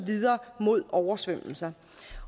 videre mod oversvømmelser